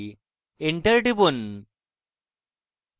enter টিপুন